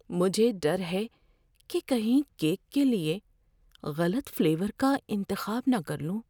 مجھے ڈر ہے کہ کہیں کیک کے لیے غلط فلیور کا انتخاب نہ کر لوں۔